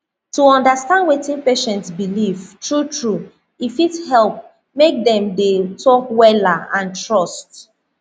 to understand wetin patient believe true true e fit help make dem dey talk wella and trust